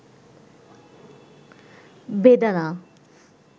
বেদানা